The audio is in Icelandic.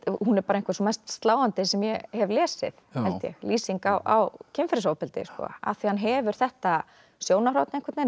hún er einhver sú mest sláandi sem ég hef lesið held ég lýsing á kynferðisofbeldi af því hann hefur þetta sjónarhorn